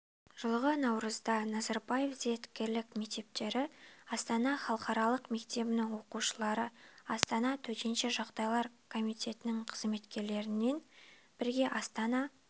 жылғы наурызда назарбаев зияткерлік мектептері астана халықаралық мектебінің оқушылары астана төтенше жағдайлар комитетінің қызметкерлерімен бірге астана